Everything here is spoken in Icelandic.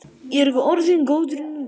Ég er orðinn góður núna.